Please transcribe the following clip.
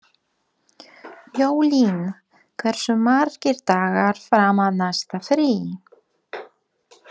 Jólín, hversu margir dagar fram að næsta fríi?